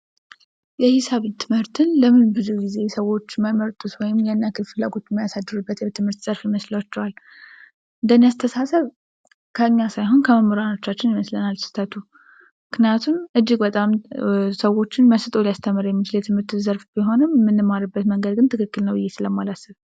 የሂሳብ ትምህርትን ለምን ብዙ ጊዜ ሰዎች እንደማይወዱት ወይም ያን ያህል ፍላጎት የማያሳድሩበት የትምህርት ዘርፍ ይመስላችኋል? እንደ እኔ አስተሳሰብ፤ ከኛ ሳይሆን ከመምህሮቻችን ይመስለኛል ስህተቱ። ምክንያቱም እጅግ በጣም ሰዎችን መስጦ ሊያስተምር የሚችል የትምህርት ዘርፍ ቢሆንም የምንማርበት መንገድ ግን ትክክል ነው ብዬ ስለማላስብ።